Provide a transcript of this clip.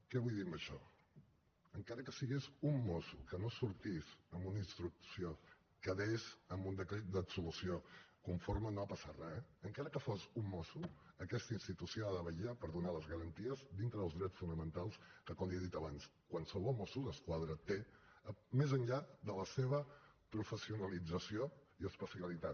què vull dir amb això encara que fos un mosso que no sortís amb una instrucció que quedés amb un decret d’absolució conforme que no ha passat res encara que fos un mosso aquesta institució ha de vetllar per donar les garanties dintre dels drets fonamentals que com li he dit abans qualsevol mosso d’esquadra té més enllà de la seva professionalització i especialitat